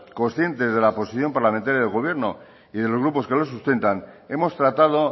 consciente de la posición parlamentaria del gobierno y de los grupos que los sustentan hemos tratado